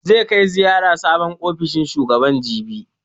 Zai kai ziyara sabon ofishin shugaban, jibi.